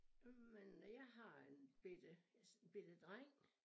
Øh men jeg har en bette jeg en bette dreng